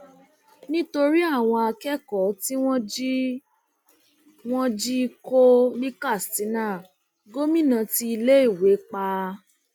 nítorí àwọn akẹkọọ tí wọn jí wọn jí kó ní katsina gómìnà ti iléèwé pa